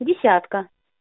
десятка